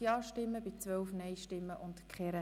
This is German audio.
Wir stimmen über den Rückweisungsantrag